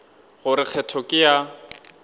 go re kgetho ke ya